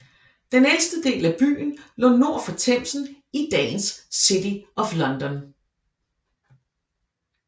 Den ældste del af byen lå nord for Themsen i dagens City of London